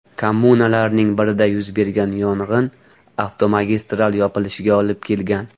Kommunalarning birida yuz bergan yong‘in avtomagistral yopilishiga olib kelgan.